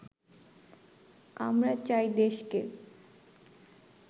আমরা চাই দেশকে